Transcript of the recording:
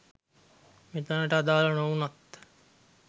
මෙතනට අදාල නොවුනත්